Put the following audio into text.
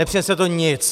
Nepřinese to nic!